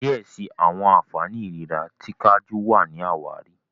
diẹ síi àwọn ànfàní ìlera ti kajú wá ní àwáàrí.